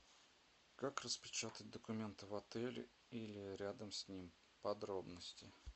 как распечатать документы в отеле или рядом с ним подробности